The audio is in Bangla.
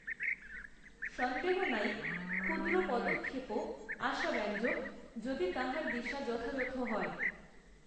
সন্দেহ নাই ক্ষুদ্র পদক্ষেপও আশাব্যঞ্জক যদি তাহার দিশা যথাযথ হয়